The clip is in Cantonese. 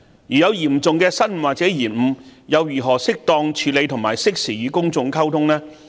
如有嚴重的失誤或延誤，又如何適當處理和適時與公眾溝通呢？